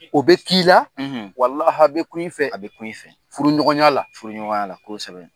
O bɛ k'ii la , a bɛ kun i fɛ, a bɛ kun i fɛ furuɲɔgɔnya la , furuɲɔgɔnya la .kosɛbɛ.